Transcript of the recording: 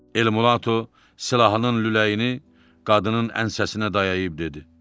Elmulato silahının lüləyini qadının ənsəsinə dayayıb dedi.